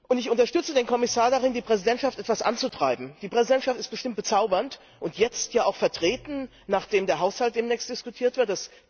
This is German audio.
Ich unterstütze den Kommissar darin, die Präsidentschaft etwas anzutreiben. Die Präsidentschaft ist bestimmt bezaubernd, und jetzt hier auch vertreten, nachdem der Haushalt demnächst diskutiert wird.